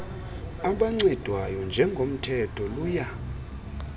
abancedwayo njengomthetho luya